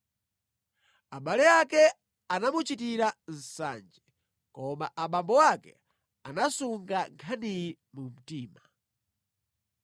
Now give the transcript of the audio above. Abale ake anamuchitira nsanje, koma abambo ake anasunga nkhaniyi mu mtima.